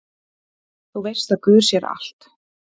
Þú veist að guð sér allt!